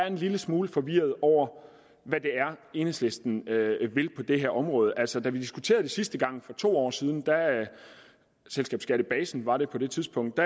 en lille smule forvirret over hvad det er enhedslisten vil på det her område altså da vi diskuterede det sidste gang for to år siden selskabsskattebasen var det på det tidspunkt